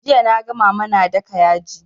Jiya naga mama na daka yaji